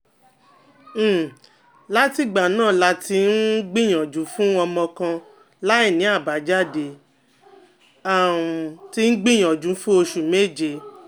um látìgbà náà la ti um gbìyànjú fún ọmọ kan láìní abajade (a um ti gbìyànjú fún oṣù meje)